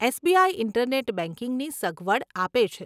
SBI internet બેંકિંગની સગવડ આપે છે.